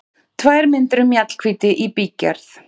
Tvær myndir um Mjallhvíti í bígerð